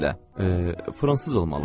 Fransız olmalıdır.